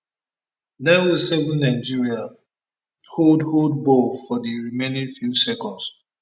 nine o seven nigeria hold hold ball for di remaining few seconds